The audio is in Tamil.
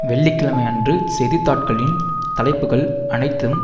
வெள்ளி கிழமை அன்று செய்தித்தாட்களின் தலைப்புக்கள் அனைத்தும்